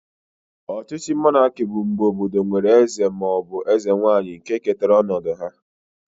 Ọchịchị monaki bụ mgbe obodo nwere eze ma ọ bụ eze nwanyị nke ketara ọnọdụ ha